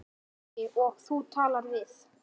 Logi: Og þú talaðir við?